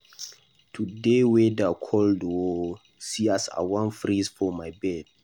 Today weather cold oo. See as I wan freeze for my bed.